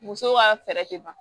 Muso ka fɛɛrɛ tɛ ban